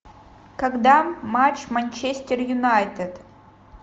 когда матч манчестер юнайтед